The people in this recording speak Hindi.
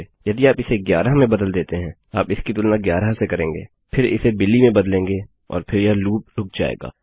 यदि आप इसे 11 में बदल देते हैं आप इसकी तुलना 11 से करेंगे फिर इसे बिली में बदलेंगे और फिर यह लूपरुक जायेगा